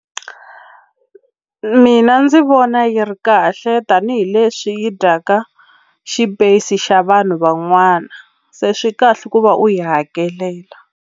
Mina ndzi vona yi ri kahle tanihileswi yi dyaka xipeyisi xa vanhu van'wana se swi kahle ku va u yi hakelela.